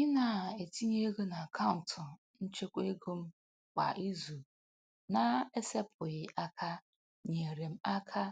Ị na-etinye ego n'akaụntụ nchekwaego m kwa izu na-esepụghị aka nyeere m aka